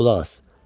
Qulaq as.